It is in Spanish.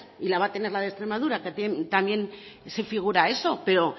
y la va a tener la de extremadura también figura eso pero